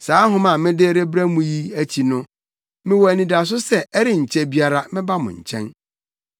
Saa nhoma a mede rebrɛ wo yi akyi no, mewɔ anidaso sɛ ɛrenkyɛ biara mɛba wo nkyɛn.